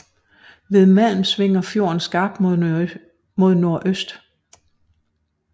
Ved Malm svinger fjorden skarpt mod nordøst